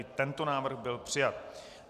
I tento návrh byl přijat.